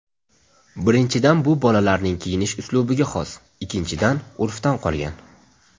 Birinchidan bu bolalarning kiyinish uslubiga xos, ikkinchidan urfdan qolgan.